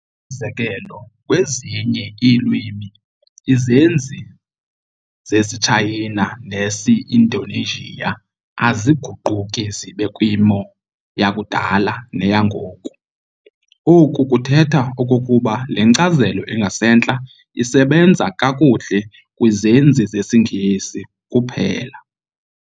Umzekelo, kwezinye iilwimi izenzi zesiTshayina nesi-Indonesian, aziguquki zibe kwimo yakudala neyangoku. Oku kuthetha okokuba le nkcazelo ingasentla isebenza kakuhle kwizenzi zesiNgesi kuphela.